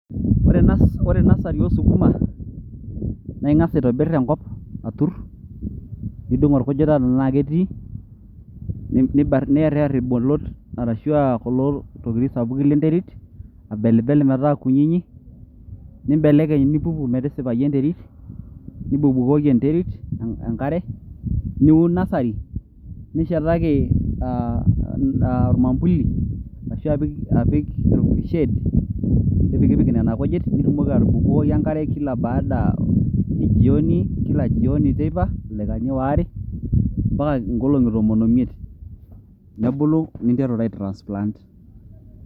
Ore enasari oosukuma naa inga'as aitobirr Enkop aturr nidung' enkujita tenaa ketii, niyaryar irbolot ashu kulo arashu kulo tokitin sapuki lenterit tenetii, abelbel metaa kunyinyi nibelekeny' metisipayu enterit nibukokibukoki enterit Enk'are, niun nasari nishetaiki aa aa ormambuli ashu ashu apik orma shade nipikpik Nena kujit nitumoki atubukokibukoki enk'are Kala baada ejioni kila jioni teipa ildakani oare ompaka ing'olong'i tomon oimiet